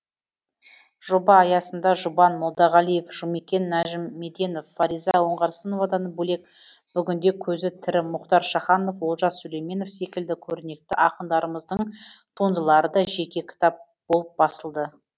жоба аясында жұбан молдағалиев жұмекен нәжімеденов фариза оңғарсыновадан бөлек бүгінде көзі тірі мұхтар шаханов олжас сүлейменов секілді көрнекті ақындарымыздың туындылары да жеке кітап болып басылды